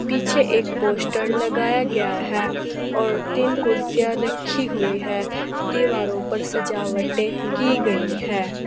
पीछे एक पोस्टर लगाया गया है और तीन कुर्सियां रखी हुई है दीवारों पर सजावटें की गई है।